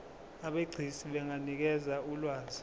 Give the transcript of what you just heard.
abegcis benganikeza ulwazi